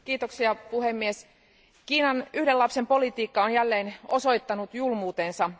Arvoisa puhemies, Kiinan yhden lapsen politiikka on jälleen osoittanut julmuutensa.